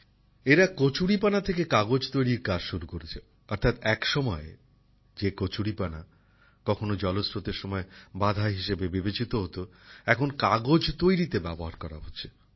এরা কচুরিপানা থেকে কাগজ তৈরির কাজ শুরু করেছে অর্থাৎ এক সময় যে কচুরিপানা কখনো জলস্রোতের সময় সমস্যা হিসেবে বিবেচিত হতো এখন কাগজ তৈরিতে ব্যবহার করা হচ্ছে